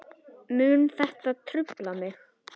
Mun þetta trufla mig?